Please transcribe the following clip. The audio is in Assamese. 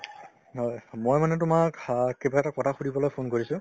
হয় , মই মানে তোমাক অ কিবা এটা কথা সুধিবলৈ phone কৰিছো